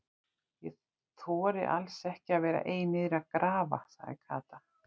Ég þori alls ekki að vera ein niðri að grafa sagði Kata.